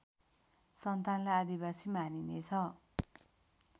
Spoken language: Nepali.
सन्तानलाई आदिवासी मानिनेछ